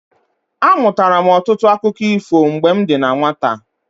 Amụtara m ọtụtụ akụkọ ifo mgbe m dị na nwata.